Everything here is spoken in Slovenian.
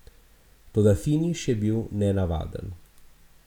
Toda finiš je bil nenavaden.